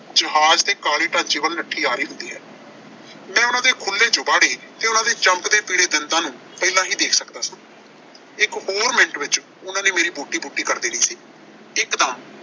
ਜਹਾਜ਼ ਤੇ ਕਾਲੇ ਢਾਂਚੇ ਵੱਲ ਨੱਠੀ ਆ ਰਹੀ ਹੁੰਦੀ ਹੈ। ਮੈਂ ਉਨ੍ਹਾਂ ਦੇ ਖੁੱਲ੍ਹ ਜਬਾੜੇ ਤੇ ਉਨ੍ਹਾਂ ਦੇ ਚਮਕਦੇ ਪੀਲੇ ਦੰਦਾਂ ਨੂੰ ਪਹਿਲਾਂ ਹੀ ਦੇਖ ਸਕਦਾ ਸੀ। ਇੱਕ ਹੋਰ ਮਿੰਟ ਵਿੱਚ ਉਨ੍ਹਾਂ ਨੇ ਮੇਰੀ ਬੋਟੀ-ਬੋਟੀ ਕਰ ਦੇਣੀ ਸੀ। ਇਕਦਮ